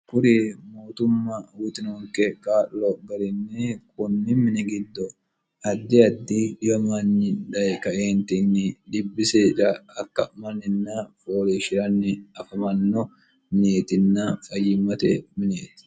kuri mootumma uyiinoonke kaa'lo garinni kunni mini giddo addi addi dhiyomanyi dhayi kaeentini dhibbi seeda akka'manninna folishi'ranni afamanno minietinna fayyimmote mineeti